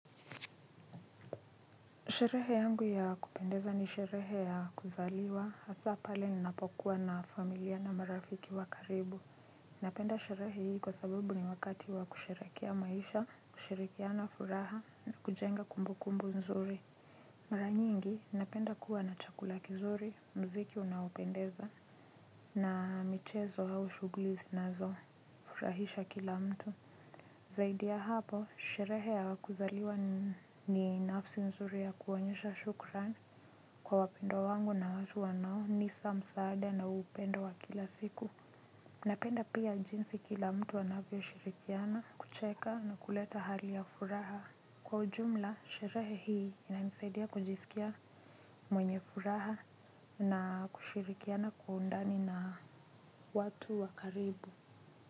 Sherehe yangu ya kupendeza ni sherehe ya kuzaliwa, hasa pale ninapokuwa na familia na marafiki wa karibu. Napenda sherehe hii kwa sababu ni wakati wa kusherehekea maisha, kusherekea na furaha na kujenga kumbukumbu nzuri. Mara nyingi, napenda kuwa na chakula kizuri, mziki unaopendeza, na michezo au shuguli zinazo furahisha kila mtu. Zaidi ya hapo, sherehe ya kuzaliwa ni nafsi nzuri ya kuonyesha shukran kwa wapendwa wangu na watu wanaonisa msaada na upendo wa kila siku. Napenda pia jinsi kila mtu anavyo shirikiana kucheka na kuleta hali ya furaha kwa ujumla, sherehe hii inanisaidia kujisikia mwenye furaha na kushirikiana kwa undani na watu wa karibu.